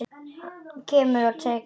Kemur og tekur hana burt.